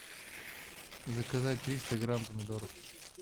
заказать триста грамм помидоров